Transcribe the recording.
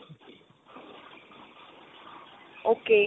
ok.